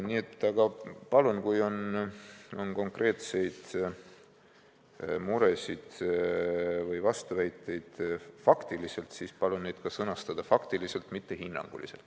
Nii et kui on konkreetseid muresid või faktilisi vastuväiteid, siis palun need ka sõnastada faktiliselt, mitte hinnanguliselt.